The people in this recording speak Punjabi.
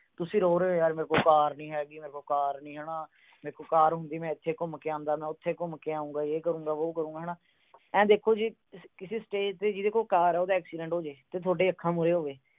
ਤੁਸੀਂ ਰੋ ਰਹੇ ਓ ਯਾਰ ਮੇਰੇ ਕੋਲ ਕਾਰ ਨੀ ਹੈਗੀ, ਮੇਰੇ ਕੋਲ ਕਾਰ ਨੀ ਹਨਾ। ਮੇਰੇ ਕੋਲ ਕਾਰ ਹੁੰਦੀ। ਮੈਂ ਇੱਥੇ ਘੁੰਮ ਕੇ ਆਉਂਦਾ, ਉਥੇ ਘੁੰਮ ਕੇ ਆਉਂਦਾ। ਮੈਂ ਯੇ ਕਰੂੰਗਾ, ਮੈਂ ਵੋ ਕਰੂੰਗਾ, ਹਨਾ। ਆਏ ਦੇਖੋ ਜੀ ਕਿਸੇ stage ਤੇ ਜਿਹਦੇ ਕੋਲ ਕਾਰ ਆ, ਉਹਦਾ accident ਹੋਜੇ ਤੇ ਥੋਡੀਆਂ ਅੱਖਾਂ ਮੁਹਰੇ ਹੋਵੇ।